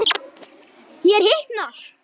Mér hitnar.